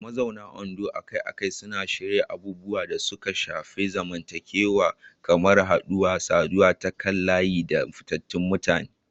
Mazauna Ondo akai-akai suna shirya abubuwan da suka shafi zamantakewa kamar haɗuwar saduwa ta kan layi da fitattun mutane.